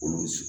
Kɔlɔsi